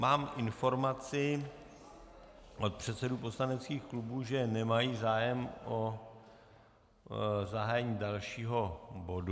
Mám informaci od předsedů poslaneckých klubů, že nemají zájem o zahájení dalšího bodu.